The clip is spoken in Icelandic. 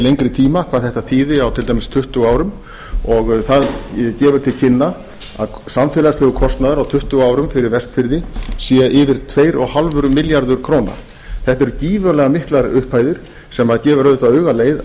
lengri tíma hvað þetta þýðir á til dæmis tuttugu árum og það gefur til kynna að samfélagslegur kostnaður á tuttugu árum fyrir vestfirði séu yfir tvö og hálfur milljarður króna þetta eru gífurlega miklar upphæðir sem gefur auðvitað auga